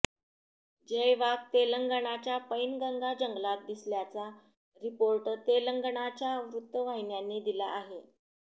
जय वाघ तेलंगणाच्या पैनगंगा जंगलात दिसल्याचा रिपोर्ट तेलंगणाच्या वृत्तवाहिन्यांनी दिला आहे